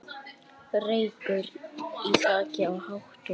Reykur í þaki í Hátúni